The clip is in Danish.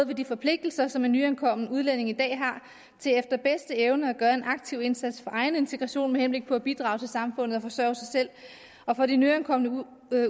ved de forpligtelser som en nyankommen udlænding i dag har til efter bedste evne at gøre en aktiv indsats for egen integration med henblik på at bidrage til samfundet og forsørge sig selv og for de nyankomne